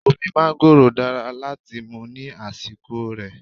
Omi mángóròò dára láti mú ní àsìkò rè.